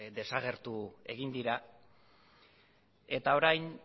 desagertu egin dira eta orain